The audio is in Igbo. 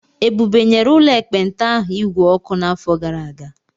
Ebube nyere ụlọ ekpenta ahụ igwe ọkụ n'afọ gara aga.